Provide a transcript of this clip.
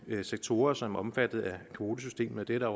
sektorer som er omfattet af kvotesystemet det er der